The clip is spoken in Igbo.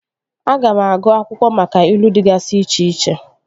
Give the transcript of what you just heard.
Aga m agụụ akwụkwọ maka ilu dịgasị iche iche